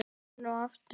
Enn og aftur?